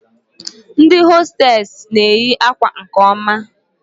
Ndị hostesị n'eyi akwa nke oma